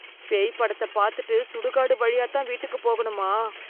பேய் படத்தை பாத்துட்டு சுடுகாடு வழியாத்தான் வீட்டுக்கு போகணுமா?